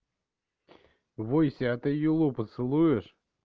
войся ты юлу поцелуешь